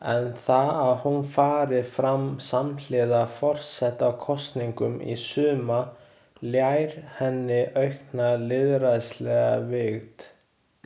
En það að hún fari fram samhliða forsetakosningum í sumar ljær henni aukna lýðræðislega vigt.